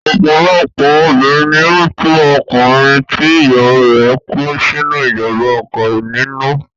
Ọ̀pọ̀lọpọ̀ obìnrin ni ó tú ọkùnrin tí ìyàwó rẹ̀ kú sínú ìjàmbá ọkọ̀ nínú.